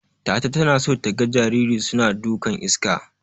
Tata tana so taga jarirai suna dukan iska.